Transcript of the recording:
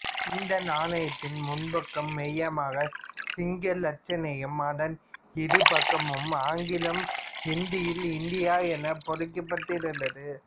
இந்நாணயத்தின் முன்பக்கம் மையமாக சிங்க லட்சனையும் அதன் இருபக்கமும் ஆங்கிலம் இந்தியில் இந்தியா எனவும் பொறிக்கப்பட்டிருந்தது